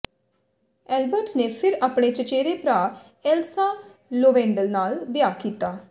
Albert ਨੇ ਫਿਰ ਆਪਣੇ ਚਚੇਰੇ ਭਰਾ ਏਲਸਾ ਲੋਵੇਂਡਲ ਨਾਲ ਵਿਆਹ ਕੀਤਾ